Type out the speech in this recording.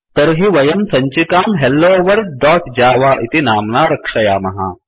तर्हि वयं सञ्चिकां हेलोवर्ल्ड दोत् जव इति नाम्ना रक्षयामः